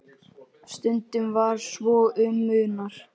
Stundum svo um munar.